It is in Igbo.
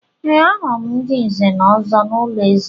Ee, ahụrụ m ndị Nze na Ọzọ n’ụlọ eze.